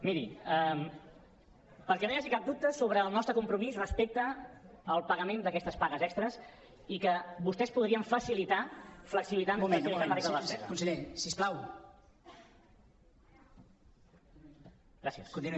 miri perquè no hi hagi cap dubte sobre el nostre compromís respecte al pagament d’aquestes pagues extres i que vostès podrien facilitar flexibilitzant la regla de la despesa